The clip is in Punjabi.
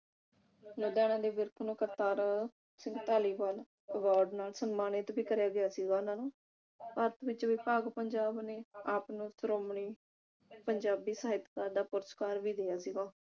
ਲੁਧਿਆਣਾ ਨੇ ਵਿਰਕ ਨੂੰ ਸਿੰਘ ਧਾਲੀਵਾਲ award ਨਾਲ ਸਮਾਨਿਤ ਵੀ ਕਰਿਆ ਗਿਆ ਸੀ ਉਹਨਾਂ ਨੂੰ ਵਿਭਾਗ ਪੰਜਾਬ ਨੇ ਆਪ ਨੂੰ ਸ਼੍ਰੋਮਣੀ ਪੰਜਾਬੀ ਸਹਿਤਕਾਰ ਦਾ ਪੁਰਸਕਾਰ ਵੀ ਸੀਗਾ